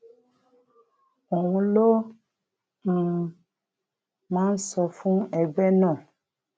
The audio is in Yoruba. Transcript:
òun ló um máa ń sọ ń sọ fún ẹgbẹ náà